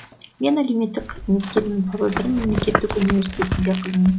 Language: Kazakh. мен әлеуметтік қызметкермін павлодар мемлекеттік университетінде қызмет